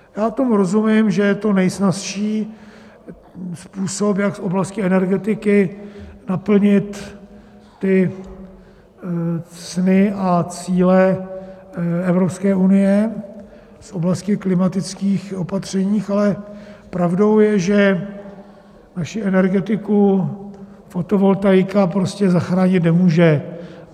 Já tomu rozumím, že je to nejsnazší způsob, jak v oblasti energetiky naplnit ty sny a cíle Evropské unie z oblasti klimatických opatření, ale pravdou je, že naši energetiku fotovoltaika prostě zachránit nemůže.